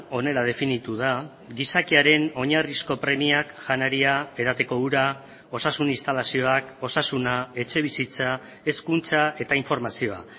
honela definitu da gizakiaren oinarrizko premiak janaria edateko ura osasun instalazioak osasuna etxebizitza hezkuntza eta informazioa